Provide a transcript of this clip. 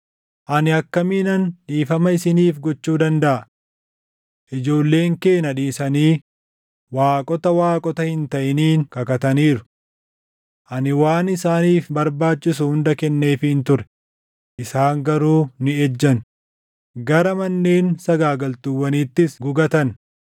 “Ani akkamiinan dhiifama isiniif gochuu dandaʼa? Ijoolleen kee na dhiisanii waaqota waaqota hin taʼiniin kakataniiru. Ani waan isaaniif barbaachisu hunda kenneefiin ture; isaan garuu ni ejjan; gara manneen sagaagaltuuwwaniitis gugatan.